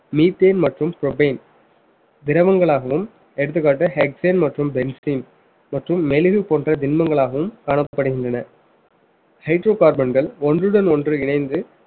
methane மற்றும் திரவங்களாகவும் எடுத்துக்காட்டு மற்றும் மற்றும் மெலிவு போன்ற திண்மங்களாகவும் காணப்படுகின்றன hydrocarbon கள் ஒன்றுடன் ஒன்று இணைந்து